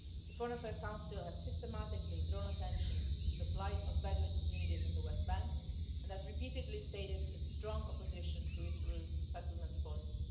The Foreign Affairs Council has systematically drawn attention to the plight of Bedouin communities in the West Bank and has repeatedly stated its strong opposition to Israel's settlements policy.